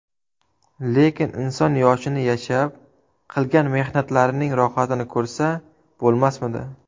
Lekin inson yoshini yashab, qilgan mehnatlarining rohatini ko‘rsa bo‘lmasmidi?